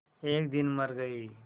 एक दिन मर गई